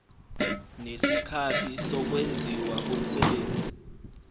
nesikhathi sokwenziwa komsebenzi